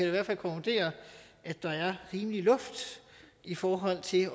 i hvert fald konkludere at der er rimelig luft i forhold til